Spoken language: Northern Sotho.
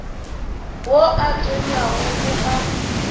wo o tonyago o a